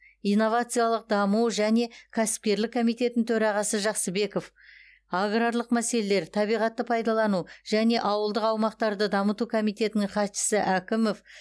инновациялық даму және кәсіпкерлік комитетінің төрағасы жақсыбеков аграрлық мәселелер табиғатты пайдалану және ауылдық аумақтарды дамыту комитетінің хатшысы әкімов